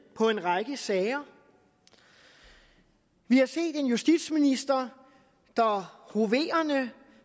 på en række sager vi har set en justitsminister der hoverende